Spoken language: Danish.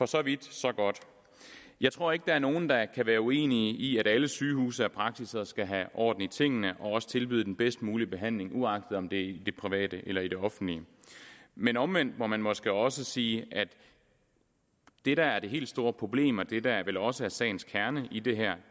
så vidt så godt jeg tror ikke der er nogen der kan være uenige i at alle sygehuse og praksis skal have orden i tingene og også tilbyde den bedst mulige behandling uagtet om det er i det private eller i det offentlige men omvendt må man måske også sige at det der er det helt store problem og det der vel også er sagens kerne i det her